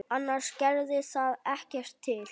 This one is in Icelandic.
Annars gerði það ekkert til.